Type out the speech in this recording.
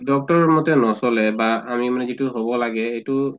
doctor ৰৰ মতে নচলে বা আমি মানে যইটো হʼব লাগে এইটো